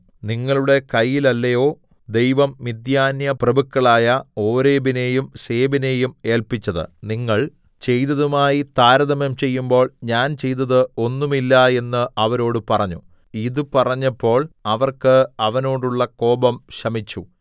നിങ്ങളുടെ കയ്യിലല്ലയോ ദൈവം മിദ്യാന്യപ്രഭുക്കളായ ഓരേബിനെയും സേബിനെയും ഏല്പിച്ചത് നിങ്ങൾ ചെയ്തതുമായി താരതമ്യം ചെയ്യുമ്പോൾ ഞാൻ ചെയ്തത് ഒന്നുമില്ല എന്നു അവരോടു പറഞ്ഞു ഇതു പറഞ്ഞപ്പോൾ അവർക്ക് അവനോടുള്ള കോപം ശമിച്ചു